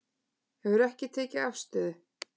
Hefur ekki tekið afstöðu